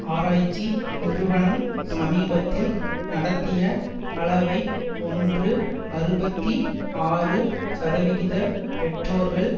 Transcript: ஆராய்ச்சி நிறுவனம் சமீபத்தில் நடத்திய அளவை ஒன்று அறுபத்தி ஆறு சதவிகித பெற்றோர்கள்